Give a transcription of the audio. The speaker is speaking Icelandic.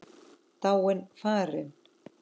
Dáin, farin.